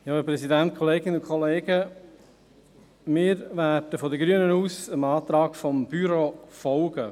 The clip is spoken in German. Seitens der Grünen werden wir dem Antrag des Büros folgen.